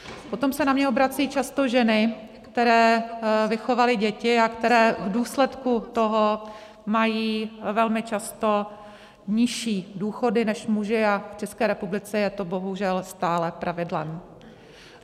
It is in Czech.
Potom se na mě obracejí často ženy, které vychovaly děti a které v důsledku toho mají velmi často nižší důchody než muži, a v České republice je to bohužel stále pravidlem.